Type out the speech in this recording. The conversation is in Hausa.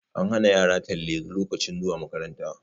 An hana yara talle lokacin zuwa makaranta